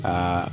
Aa